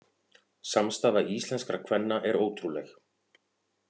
Samstaða íslenskra kvenna er ótrúleg